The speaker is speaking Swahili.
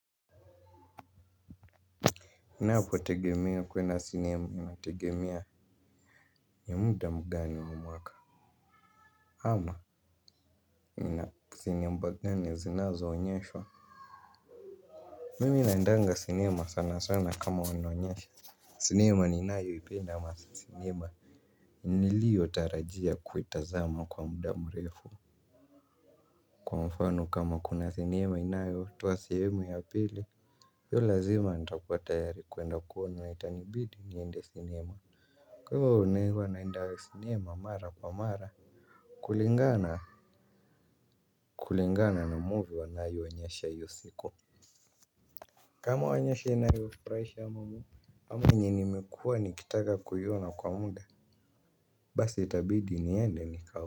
Ninapo tegemea kuenda sinema inategemea ya muda mgani wa mwaka ama ina sinema mgani zinazoonyeshwa. Mimi naendanga sinema sana sana kama wanaonyeshwa, sinema ninayoipenda ama sinema nilio tarajia kuitazama kwa muda mrefu. Kwa mfano kama kuna sinema inayotowa sehemu ya pili. Iyo lazima nitakuwa tayari kuenda kuona itanibidi niende sinema. Kwa hivyo huwa naenda sinema mara kwa mara, kulingana kulingana na movie wanayo onyesha hiyo siku. Kama waoyeshi inayo furaisha ama yenye nimekuwa nikitaka kuona kwa muda. Basi itabidi niende nika.